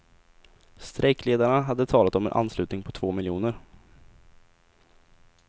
Strejkledarna hade talat om en anslutning på två miljoner.